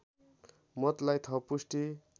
मतलाई थप पुष्टि